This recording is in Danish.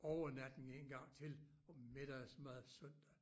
Over natten en gang til og middagsmad søndag